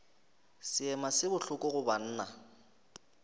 seema se bohloko go banna